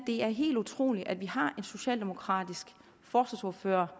er helt utroligt at vi har en socialdemokratisk forsvarsordfører